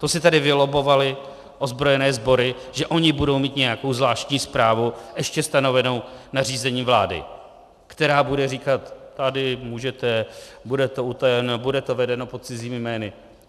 To si tady vylobbovaly ozbrojené sbory, že ony budou mít nějakou zvláštní správu, ještě stanovenou nařízením vlády, která bude říkat: tady můžete, bude to utajeno, bude to vedeno pod cizími jmény.